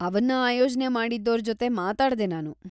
ಅವನ್ನ ಆಯೋಜ್ನೆ ಮಾಡಿದ್ದೋರ್ ಜೊತೆ ಮಾತಾಡ್ದೆ ನಾನು.